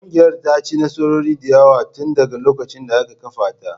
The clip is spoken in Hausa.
Ƙungiyar ta ci nasarori da yawa tun daga lokacin da aka kafa ta